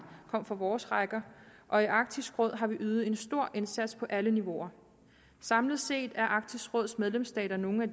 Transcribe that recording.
kom fra vores rækker og i arktisk råd har vi ydet en stor indsats på alle niveauer samlet set er arktisk råds medlemsstater nogle af